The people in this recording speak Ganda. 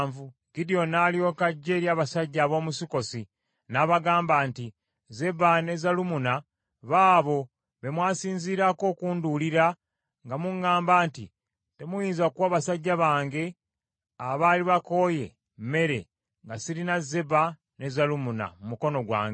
Gidyoni n’alyoka ajja eri abasajja ab’omu Sukkosi n’abagamba nti, “Zeba ne Zalumunna baabo be mwasinzirako okundulira nga muŋŋamba nti, temuyinza kuwa basajja bange abaali bakooye mmere, nga sirina Zeba ne Zalumunna mu mukono gwange.”